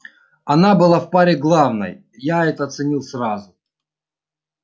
она была в паре главной я это оценил сразу